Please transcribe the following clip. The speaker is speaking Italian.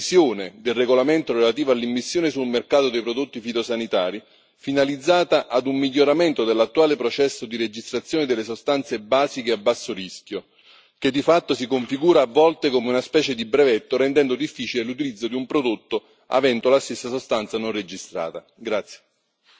Occorre dunque una revisione del regolamento relativo all'immissione sul mercato dei prodotti fitosanitari, finalizzata ad un miglioramento dell'attuale processo di registrazione delle sostanze basiche a basso rischio che, di fatto, si configura a volte come una specie di brevetto, rendendo difficile l'utilizzo di un prodotto avendo la stessa sostanza non registrata.